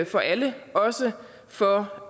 for alle også for